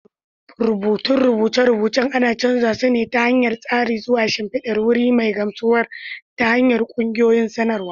Rubutun rubuce-rubucen ana canza su ta hanyar tsari zuwa shimfidar wuri mai gamsarwa ta ƙungiyoyin samarwa.